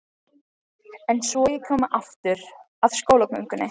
En svo ég komi aftur að skólagöngunni.